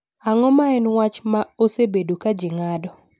Ang’o ma en wach ma osebedo ka ji ng’ado?